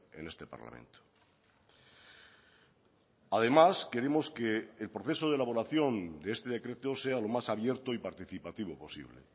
en este parlamento además queremos que el proceso de elaboración de este decreto sea lo más abierto y participativo posible